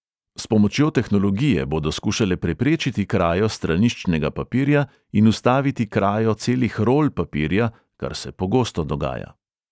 S pomočjo tehnologije bodo skušale preprečiti krajo straniščnega papirja in ustaviti krajo celih rol papirja, kar se pogosto dogaja.